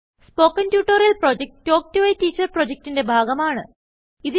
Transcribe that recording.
spoken tutorial project talk to a teacher പ്രൊജക്റ്റ്ന്റെ ഭാഗമാണ്